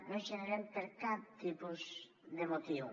no segreguem per cap tipus de motiu